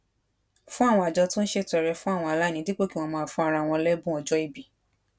fún àwọn àjọ tó ń ṣètọrẹ fún àwọn aláìní dípò kí wón máa fún ara wọn lébùn ọjó ìbí